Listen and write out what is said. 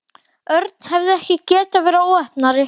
Örn hefði ekki getað verið óheppnari.